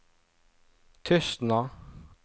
Tustna